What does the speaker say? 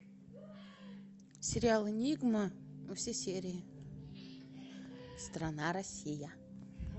сериал энигма все серии страна россия